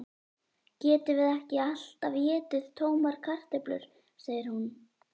Getum ekki alltaf étið tómar kartöflur, segir hún.